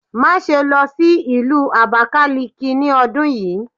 Maṣe lọ si Ìlú Abakaliki ni ọdun yii!